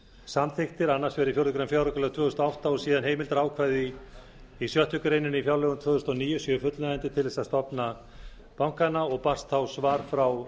samþykktir annars vegar í fjórða grein fjáraukalaga tvö þúsund og átta og síðan heimildarákvæði í sjöttu grein í fjárlögum tvö þúsund og níu séu fullnægjandi til þess að stofna bankana svar frá